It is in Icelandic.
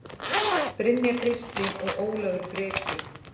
Brynja Kristín og Ólafur Breki.